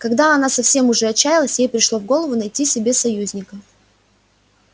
когда она совсем уже отчаялась ей пришло в голову найти себе союзника